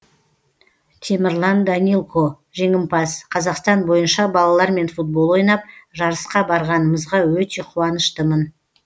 темірлан данилко жеңімпаз қазақстан бойынша балалармен футбол ойнап жарысқа барғанымызға өте қуаныштымын